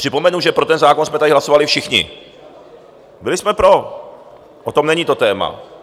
Připomenu, že pro ten zákon jsme tady hlasovali všichni, byli jsme pro, o tom není, to téma.